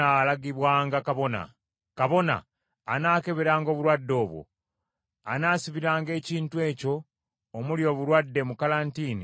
Kabona anaakeberanga obulwadde obwo, anaasibiranga ekintu ekyo omuli obulwadde mu kalantiini okumala ennaku musanvu.